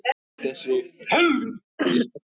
Ég bara áttaði mig ekkert á þessu.